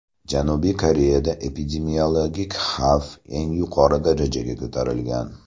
Janubiy Koreyada epidemiologik xavf eng yuqori darajaga ko‘tarilgan.